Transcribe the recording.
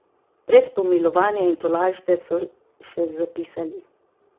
Brez pomilovanja in tolažbe, so še zapisali.